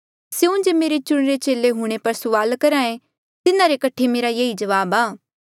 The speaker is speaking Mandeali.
स्यों जे मेरे चुणिरा चेले हूंणे पर सुआल करहे तिन्हारे कठे मेरा ये ई जवाब आ